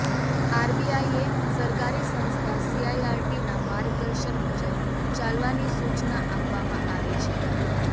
આરબીઆઈએ સરકારી સંસ્થા સીઈઆરટીના માર્ગદર્શન મુજબ ચાલવાની સૂચના આપવામાં આવી છે